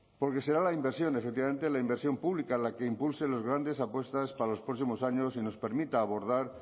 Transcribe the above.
porque será la inversión efectivamente la inversión pública la que impulse las grandes apuestas para los próximos años y nos permita abordar